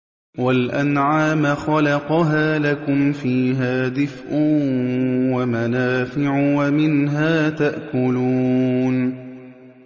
وَالْأَنْعَامَ خَلَقَهَا ۗ لَكُمْ فِيهَا دِفْءٌ وَمَنَافِعُ وَمِنْهَا تَأْكُلُونَ